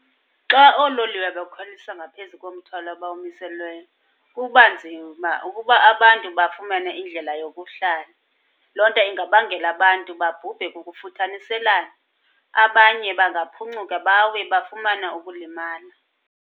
Xa oololiwe bekhwelisa ngaphezu komthwalo abawumiselweyo kuba nzima uba, ukuba abantu bafumane indlela yokuhlala. Loo nto ingabangela abantu babhubhe kukufuthaniselana, abanye bangaphuncuka bawe bafumane ukulimala.